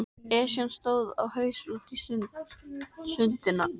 Esjan stóð á haus úti á Sundunum.